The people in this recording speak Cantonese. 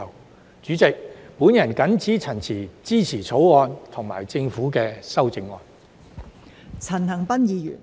代理主席，我謹此陳辭，支持《條例草案》及政府的修正案。